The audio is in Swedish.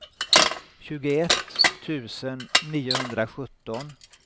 tjugoett tusen niohundrasjutton